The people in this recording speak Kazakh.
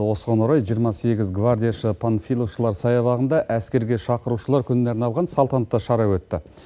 осыған орай жиырма сегіз гвардияшы панфиловшылар саябағында әскерге шақырушылар күніне арналған салтанатты шара өтті